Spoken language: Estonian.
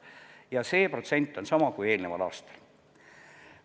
Ja see protsent on sama kui eelneval aastal.